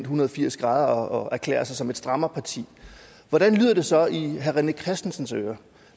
hundrede og firs grader og erklærer sig som et strammerparti hvordan lyder det så i herre rené christensens ører